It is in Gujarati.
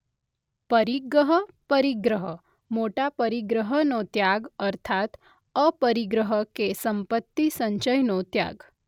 પરિગહ પરિગ્રહ - મોટા પરિગ્રહનો ત્યાગ અર્થાત્ અપરિગ્રહ કે સંપત્તિ સંચયનો ત્યાગ.